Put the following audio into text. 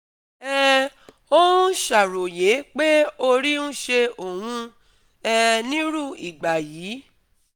um ó ń ṣàròyé pé orí ń ṣe òun um nírú ìgbà yìí